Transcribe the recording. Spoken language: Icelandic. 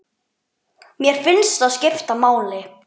Mér finnst það skipta máli.